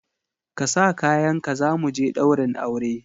Ka sa kayanka za mu je ɗaurin aure!